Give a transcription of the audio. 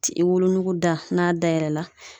I wolonugu da ,n'a dayɛlɛ la